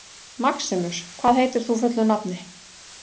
Maximus, hvað heitir þú fullu nafni?